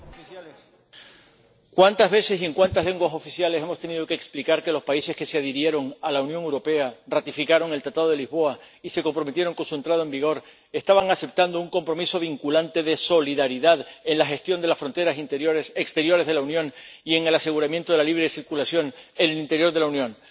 Señor Jurek... Cuántas veces y en cuántas lenguas oficiales hemos tenido que explicar que los países que se adhirieron a la Unión Europea, ratificaron el Tratado de Lisboa y se comprometieron con su entrada en vigor, estaban aceptando un compromiso vinculante de solidaridad en la gestión de las fronteras exteriores de la Unión y en el aseguramiento de la libre circulación en el interior de la Unión.